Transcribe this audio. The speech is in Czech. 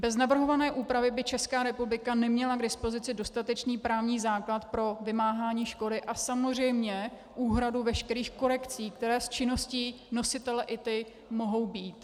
Bez navrhované úpravy by Česká republika neměla k dispozici dostatečný právní základ pro vymáhání škody a samozřejmě úhradu veškerých korekcí, které z činnosti nositele ITI mohou být.